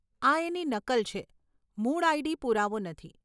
આ એની નકલ છે, મૂળ આઈડી પુરાવો નથી.